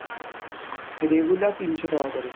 regular তিনশো টাকা করে।